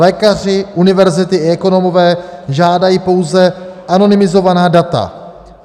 Lékaři, univerzity i ekonomové žádají pouze anonymizovaná data.